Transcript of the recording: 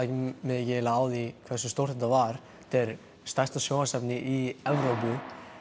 mig eiginlega ekki á því hversu stórt þetta var þetta er stærsta sjónvarpsefni í Evrópu